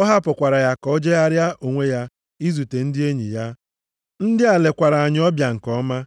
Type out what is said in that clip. Ọ hapụkwara ya ka o jegharịara onwe ya izute ndị enyi ya. Ndị a lekwara anyị ọbịa nke ọma.